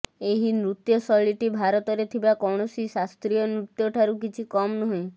ଏହି ନୃତ୍ୟ ଶୈଳୀଟି ଭାରତରେ ଥିବା କୈଣସି ଶାସ୍ତ୍ରୀୟ ନୃତ୍ୟଠାରୁ କିଛି କମ ନୁହେଁ